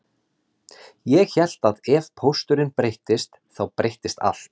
Ég hélt að ef pósturinn breyttist þá breyttist allt